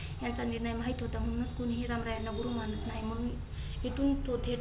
यांचा निर्णय माहीत होता. म्हणून कोणी ही रामराया याना गुरु मनात नाही. मग इथून तो थेट